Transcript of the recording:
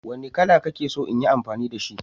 Wanne kala kake so in yi amfani da shi